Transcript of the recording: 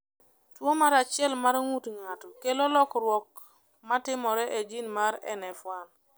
Tuwo mar 1 mar ng’ut ng’ato kelo lokruok (lokruok) ma timore e jin mar NF1.